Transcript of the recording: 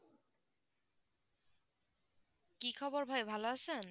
কি খবর ভাই ভালো আছেন?